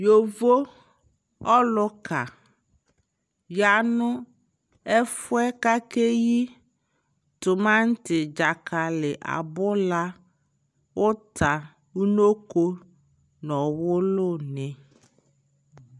Yovo ɔluka ya nu ɛfuɛ kakɛ yi tumamanti, dzakali, abula, unokʋ nɔ ɔwulu ni